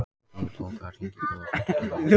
Týr, bókaðu hring í golf á fimmtudaginn.